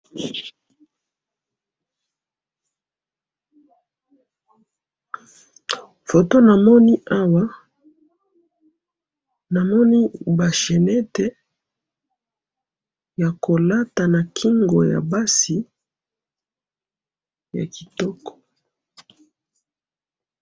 Photo namoni Awa, namoni ba chaînettes ya kolata na kingo ya basi, ya kitoko.